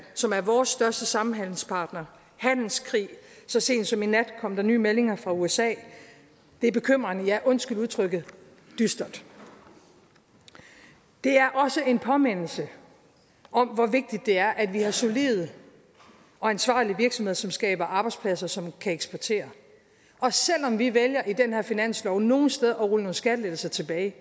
som er vores største samhandelspartner og handelskrig så sent som i nat kom der nye meldinger fra usa og det er bekymrende og ja undskyld udtrykket dystert det er også en påmindelse om hvor vigtigt det er at vi har solide og ansvarlige virksomheder som skaber arbejdspladser som kan eksportere og selv om vi i den her finanslov nogle steder rulle nogle skattelettelser tilbage